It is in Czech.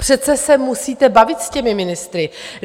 Přece se musíte bavit s těmi ministry.